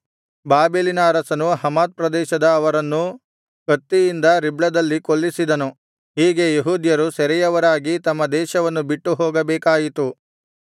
ಬಾಬೆಲಿನ ಅರಸನು ಹಮಾತ್ ಪ್ರದೇಶದ ಅವರನ್ನು ಕತ್ತಿಯಿಂದ ರಿಬ್ಲದಲ್ಲಿ ಕೊಲ್ಲಿಸಿದನು ಹೀಗೆ ಯೆಹೂದ್ಯರು ಸೆರೆಯವರಾಗಿ ತಮ್ಮ ದೇಶವನ್ನು ಬಿಟ್ಟು ಹೋಗಬೇಕಾಯಿತು